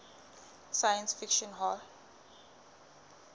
science fiction hall